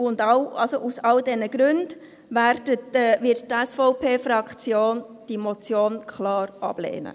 Aus all diesen Gründen wird die SVP-Fraktion diese Motion klar ablehnen.